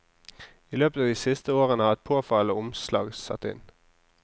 I løpet av de siste årene har et påfallende omslag satt inn.